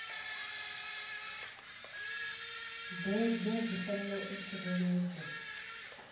bebwa dzi fanela u tsireledzwa